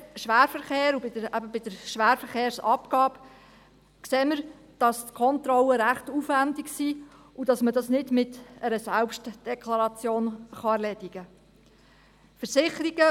Beim Schwerverkehr und bei der Schwerverkehrsabgabe sehen wir, dass die Kontrollen recht aufwendig sind und dass man das nicht mit einer Selbstdeklaration erledigen kann.